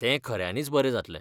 तें खऱ्यांनीच बरें जातलें.